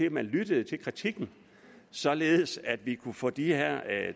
at man lyttede til kritikken således at vi kunne få de her